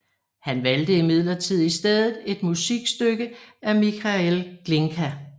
Han valgte imidlertid i stedet et musikstykke af Mikhail Glinka